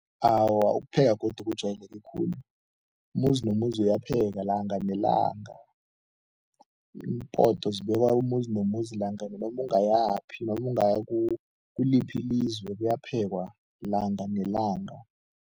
Awa, ukupheka godu kujwayeleke khulu. Umuzi nomuzi uyapheka langa nelanga, Iimpoto zibekwa umuzi nomuzi, langa noma ungayaphi noma ungaya kuliphi ilizwe, kuyaphekwa langa nelanga.